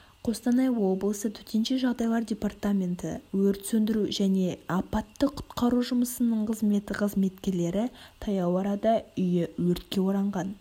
қостанай облысы төтенше жағдайлар департаменті өрт-сөндіру және апатты-құтқару жұмысының қызметі қызметкерлері таяу арада үйі өртке оранған